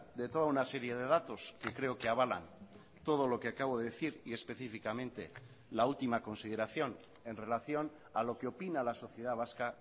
de toda una serie de datos que creo que avalan todo lo que acabo de decir y específicamente la última consideración en relación a lo que opina la sociedad vasca